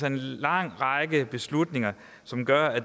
en lang række beslutninger som gør at